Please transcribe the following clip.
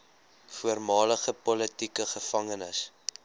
voormalige politieke gevangenes